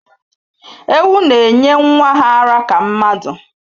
Ewu na-enye nwa ha ara ka mmadụ